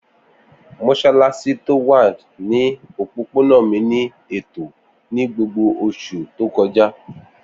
Mossalassi ti o wa ni opopona mi ni eto ni gbogbo oṣu to kọja.